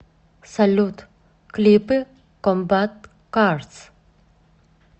салют клипы комбат карс